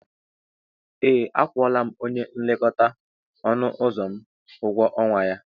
Ee, akwụla m onye nlekọta ọnụ ụzọ m ụgwọ ọnwa ya.